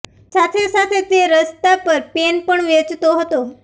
સાથે સાથે તે રસ્તા પર પેન પણ વેચતો હતો